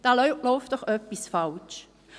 Da läuft doch etwas falsch.